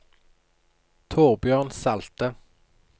Torbjørn Salte